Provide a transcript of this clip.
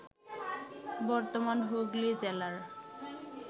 বর্তমান হুগলি জেলার